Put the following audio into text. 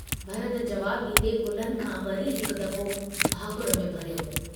भरत जवाबु डींदे कुल्हनि खां वरी हिकु दफ़ो भाकुर में भरियो।